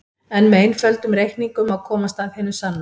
En með einföldum reikningum má komast að hinu sanna.